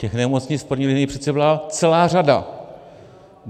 Těch nemocnic v první linii přece byla celá řada.